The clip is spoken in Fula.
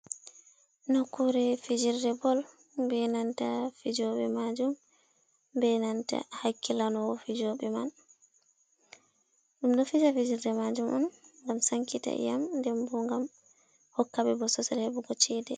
Nukkuure fijirde bol, be nanta fijooɓe maajum, be nanta hakkilano wo fijooɓe man. Ɗum ɗo fija fijirde maajum on ngam sankita inyam, nden bo ngam hokka ɓe bosesal heɓugo cheede.